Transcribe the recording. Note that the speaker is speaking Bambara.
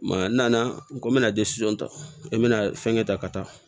n nana n ko n bɛna ta i bɛna fɛn kɛ ta ka taa